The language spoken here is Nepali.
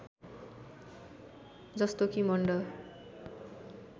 जस्तो कि मण्ड